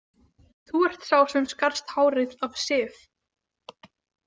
Þú ert sá sem skarst hárið af Sif